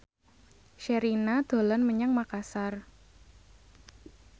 Sherina dolan menyang Makasar